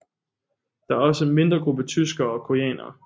Der er også en mindre gruppe tyskere og koreanere